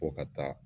Ko ka taa